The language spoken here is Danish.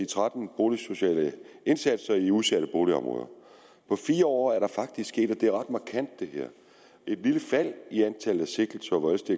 tretten boligsociale indsatser i udsatte boligområder på fire år er der faktisk sket og det er ret markant et lille fald i antallet af sigtelser hvor det